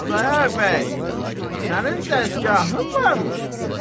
Xudayar bəy, sənin də dəsgahın varmış.